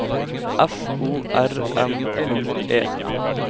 F O R M U E